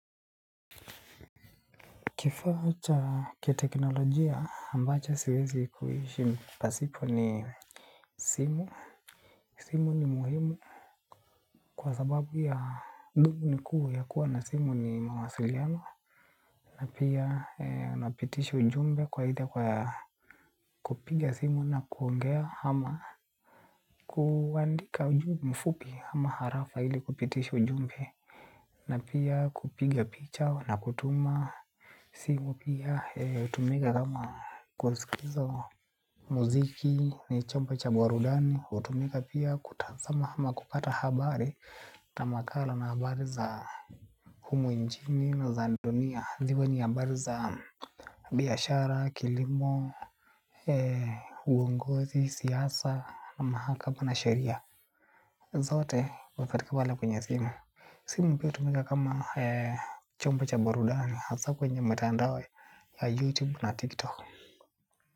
Kifaa cha kiteknolojia ambacho siwezi kuishi pasipo ni simu simu muhimu kwa sababu nikuwa muhimu kwa mawasiliano na pia inapitisha ujumbe aidha kwa kupiga simu na kuongeaama. Kuandika ujumbe mfupi ama harafa hili kupitisha ujumbe. Na pia kupiga picha na kutuma. Simu pia utumika kama kusikiza muziki ni chompa cha buarudani. Utumika pia kutazama hama kukata habari ata makala na habari za humo njini na za dunia. Ziwe ni habari za biyashara, kilimo, uongozi, siasa na mahakama na sharia. Zote wapatika wala kwenye simu. Simu pia utumika kama chombo cha buarudani haza kwenye matandao la youtube na tiktok.